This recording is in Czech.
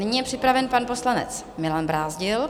Nyní je připraven pan poslanec Milan Brázdil.